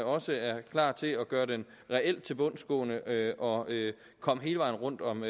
også er klar til at gøre den reelt tilbundsgående og komme hele vejen rundt om